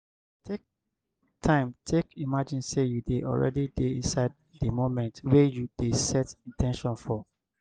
take time take imagine sey you don already dey inside di moment wey you dey set in ten tion for